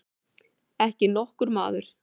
Ekki nokkur maður.